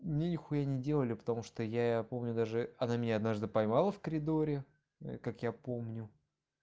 нехуя не делали потому что я помню даже она меня однажды поймала в коридоре как я помню